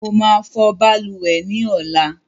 I will wash bathroom tomorrow